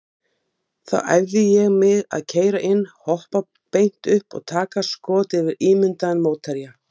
Það borgar sig því að framleiða einungis þrjá stóla.